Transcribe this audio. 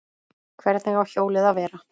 Hvernig á hjólið að vera?